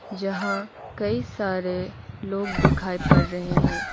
जहां कई सारे लोग दिखाई पड़ रहे हैं।